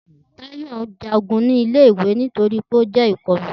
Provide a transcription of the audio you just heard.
Tayo jagun ni ile-iwe nitori pe o jẹ ikọlu.